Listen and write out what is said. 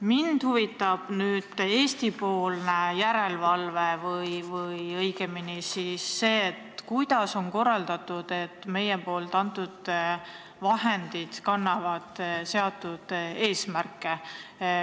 Mind huvitab Eesti-poolne järelevalve või õigemini see, kuidas on korraldatud, et meie antud vahendid kannaksid seatud eesmärke.